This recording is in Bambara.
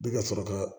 Bɛ ka sɔrɔ ka